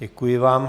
Děkuji vám.